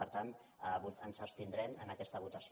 per tant ens abstindrem en aquesta votació